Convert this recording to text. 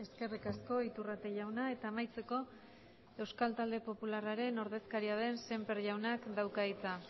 eskerrik asko iturrate jauna eta amaitzeko euskal talde popularraren ordezkaria den sémper jaunak dauka hitza